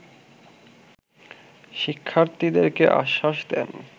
শিক্ষার্থীদেরকে আশ্বাস দেন